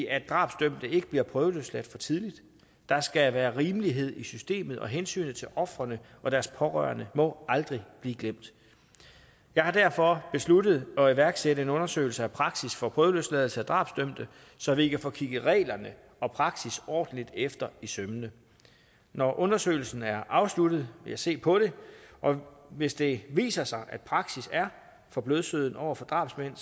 at drabsdømte ikke bliver prøveløsladt for tidligt der skal være rimelighed i systemet og hensynet til ofrene og deres pårørende må aldrig blive glemt jeg har derfor besluttet at iværksætte en undersøgelse af praksis for prøveløsladelse af drabsdømte så vi kan få kigget reglerne og praksis ordentligt efter i sømmene når undersøgelsen er afsluttet vil jeg se på det og hvis det viser sig at praksis er for blødsøden over for drabsmænd